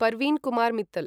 Parveen Kumar Mittal